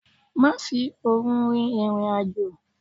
Má fi òru rin ìrìn àjò!